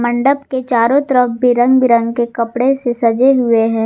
मंडप के चारों तरफ बिरंग बिरंग के कपड़े से सजे हुए है।